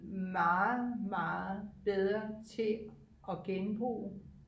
meget meget bedre til at genbruge